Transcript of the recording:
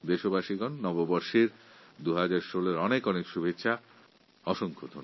আমার প্রিয় দেশবাসীগণ আমি আরও একবার আপনাদের সবাইকে নতুন বছর ২০১৬র অনেক অনেক শুভেচ্ছা জানাচ্ছি